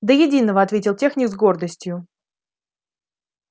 до единого ответил техник с гордостью